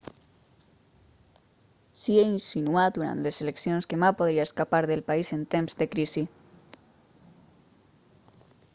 hsieh insinuà durant les eleccions que ma podria escapar del país en temps de crisi